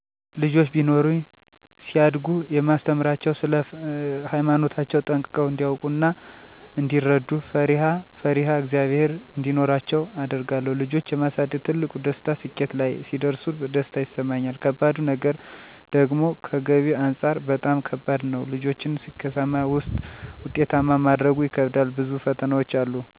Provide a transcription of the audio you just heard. ልጆች ቢኖሩኝ ሲያድጉ የማስተምራቸዉ ስለ ሃይማኖታቸዉ ጠንቅቀዉ እንዲያዉቁ እና እንዲረዱ፣ ፈሪአ ፈሪሃ እግዝአብሔር እንዲኖራቸዉ አደርጋለሁ ልጆች የማሳደግ ትልቁ ደስታ ስኬት ላይ ሲደርሱ ደስታ ይሰማኛል ከባዱ ነገር ደግሞከገቢ አንፃር በጣም ከባድ ነዉ ልጆችን ስኬታማና ዉጤታማ ማድረጉ ይከብዳል ብዙ ፈተናዎች አሉ